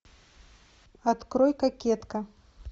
открой кокетка